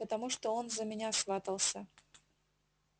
потому что он за меня сватался